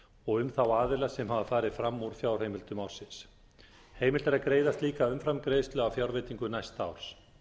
og um þá aðila sem hafa farið fram úr fjárheimildum ársins heimilt er að greiða slíka umframgreiðslu af fjárveitingu næsta árs